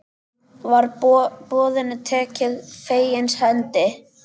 Var boðinu tekið fegins hendi.